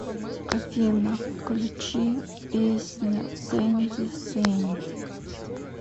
афина включи песня сэнди сэнди